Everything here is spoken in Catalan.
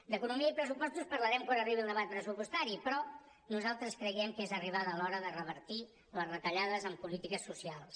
d’economia i pressupostos parlarem quan arribi el debat pressupostari però nosaltres creiem que és arribada l’hora de revertir les retallades en polítiques socials